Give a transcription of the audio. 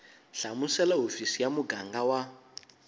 hlamusela hofisi ya muganga wa